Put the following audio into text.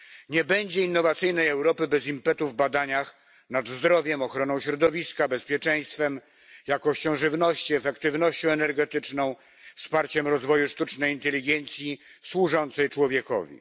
Nie będzie innowacyjnej Europy bez impetu w badaniach nad zdrowiem, ochroną środowiska, bezpieczeństwem, jakością żywności, efektywnością energetyczną, wsparciem rozwoju sztucznej inteligencji służącej człowiekowi.